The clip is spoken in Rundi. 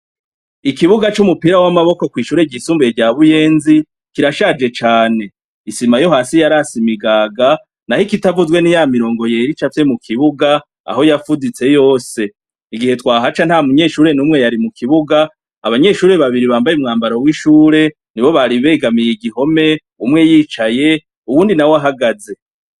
Ikibuga c'umupira w'amaboko ,kw'ishuri ry'isumbuye rya buyenzi kirashaje cane ,isima yo hasi yarase imigaga, naho ikitavuzwe ni ya mirongo yera icafye mu kibuga ,aho yafuditse yose, igihe twahaca nta munyeshuri n'umwe yari mu kibuga ,abanyeshuri babiri bambaye umwambaro w'ishure ni bo bari begamiye igihome ,umwe yicaye, uwundi na we ahagaze.